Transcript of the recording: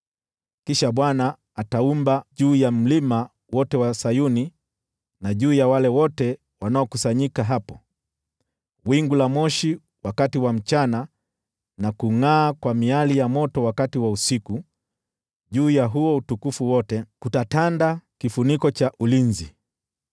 Kisha Bwana ataumba juu ya Mlima wote wa Sayuni, na juu ya wale wote wanaokusanyika hapo, wingu la moshi wakati wa mchana, na kungʼaa kwa miali ya moto wakati wa usiku, nako juu ya huo utukufu wote kutatanda kifuniko cha ulinzi.